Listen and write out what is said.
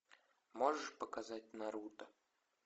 можешь показать наруто